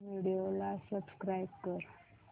prime Video ला subscribe कर